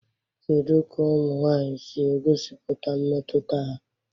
Kedu ka ụmụ nwanyị si egosipụta mmetụta ha?